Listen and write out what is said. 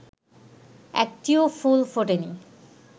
একটিও ফুল ফোটে নি